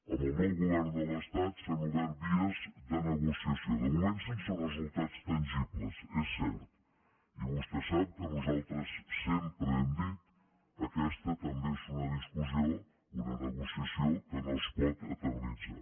amb el nou govern de l’estat s’han obert vies de negociació de moment sense resultats tangibles és cert i vostè sap que nosaltres sempre hem dit aquesta també és una discussió una negociació que no es pot eternitzar